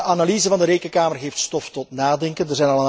De analyse van de Rekenkamer geeft stof tot nadenken.